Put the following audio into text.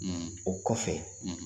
o kɔfɛ.